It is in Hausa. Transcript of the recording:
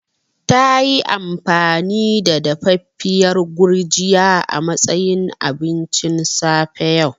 Tayi amfani da dafaffiyar Gurjiya a matsayin abincin safe yau.